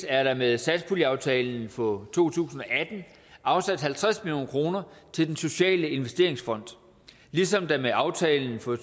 er der med satspuljeaftalen for to tusind og atten afsat halvtreds million kroner til den sociale investeringsfond ligesom der med aftalen for